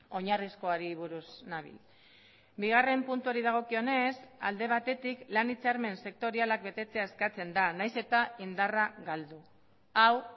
oinarrizkoari buruz nabil bigarren puntuari dagokionez alde batetik lan hitzarmen sektorialak betetzea eskatzen da nahiz eta indarra galdu hau